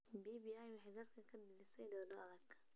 BBI waxay dalka ka dhalisay doodo adag.